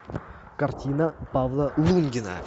картина павла лунгина